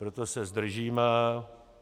Proto se zdržíme.